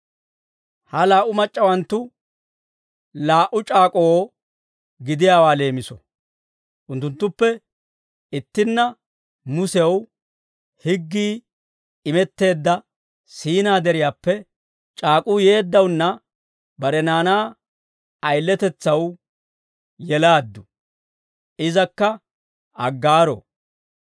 Ha laa"u mac'c'awanttu laa"u c'aak'k'oo gidiyaa leemiso. Unttunttuppe ittinna, Musew higgii imetteedda Siinaa Deriyaappe c'aak'uu yeeddawunna, bare naanaa ayiletetsaw yelaaddu; izakka Aggaaro.